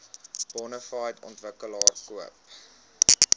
bonafide ontwikkelaar koop